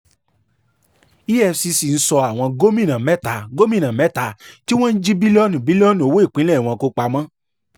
efcc ń sọ àwọn gómìnà mẹ́ta gómìnà mẹ́ta tí wọ́n jí bílíọ̀nù bílíọ̀nù owó ìpínlẹ̀ wọn kó pamọ́